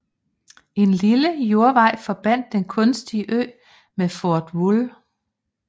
En lille jordvej forbandt den kunstige ø med Fort Wool